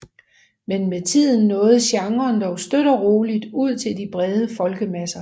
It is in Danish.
Men med tiden nåede genren dog støt og roligt ud til de brede folkemasser